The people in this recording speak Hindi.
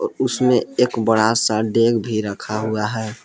उसमें एक बड़ा सा एक डेग भी रखा हुआ है।